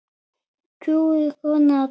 Kúguð kona, dóttir.